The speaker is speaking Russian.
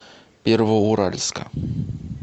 первоуральска